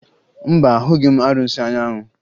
Mba, ahụghị m arụsị Anyanwụ